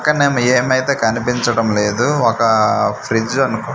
పక్కన ఏమైతే కనిపించడం లేదు ఒక ఫ్రిడ్జ్ అనుకు.